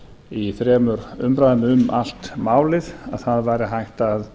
í þremur umræðum um allt málið að það væri hægt að